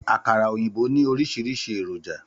Àkàrà òyìnbó ní oríṣiríṣi èròjà